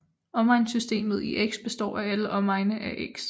Omegnssystemet i x består af alle omegne af x